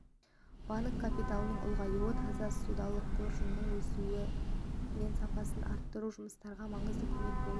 банк капиталының ұлғаюы таза ссудалық қоржынның өсуі мен сапасын арттыру жұмыстарымызға маңызды көмек болып отыр